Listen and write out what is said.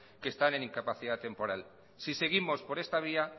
que están en incapacidad temporal si seguimos por esta vía